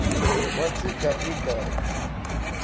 watsi gabi gabi